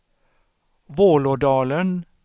Vålådalen